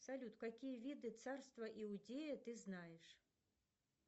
салют какие виды царства иудея ты знаешь